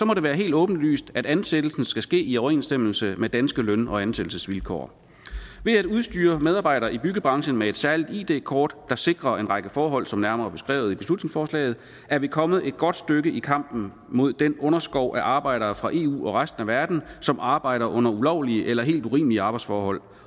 må det være helt åbenlyst at ansættelsen skal ske i overensstemmelse med danske løn og ansættelsesvilkår ved at udstyre medarbejdere i byggebranchen med et særligt id kort der sikrer en række forhold som nærmere beskrevet i beslutningsforslaget er vi kommet et godt stykke i kampen mod den underskov af arbejdere fra eu og resten af verden som arbejder under ulovlige eller helt urimelige arbejdsforhold